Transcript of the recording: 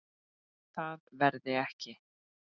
Það verði ekki.